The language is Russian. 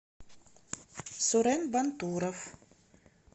сурен бантуров